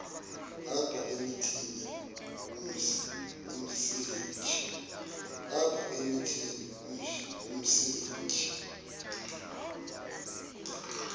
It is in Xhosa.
apha emithini umsintsi